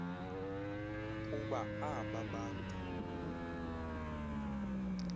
kuba aaba bantu